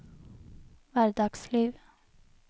hverdagsliv